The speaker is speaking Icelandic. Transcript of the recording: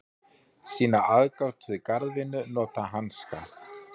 Sýna aðgát við garðvinnu, nota hanska.